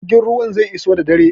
Jirgin ruwan zai iso da dare.